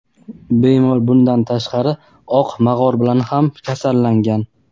Bemor bundan tashqari "oq mog‘or" bilan ham kasallangan.